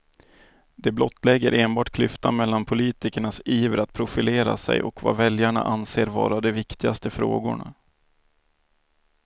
Det blottlägger enbart klyftan mellan politikernas iver att profilera sig och vad väljarna anser vara de viktigaste frågorna.